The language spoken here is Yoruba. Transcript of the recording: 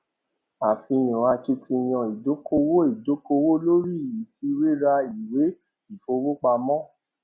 àfihàn akitiyan ìdókòwò ìdókòwò lórí ìfiwéra ìwé ìfowópamọ